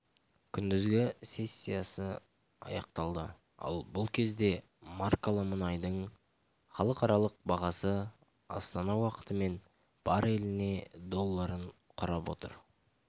күндізгі сессиясы аяқталды ал бұл кезде маркалы мұнайдың халықаралық бағасы астана уақытымен бареліне долларын құрап отыр